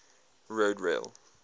railroad